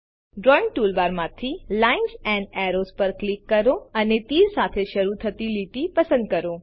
drawing ટૂલબારમાંથી જીટીજીટી lines and arrows પર ક્લિક કરો અને તીર સાથે શરુ થતી લીટી પસંદ કરો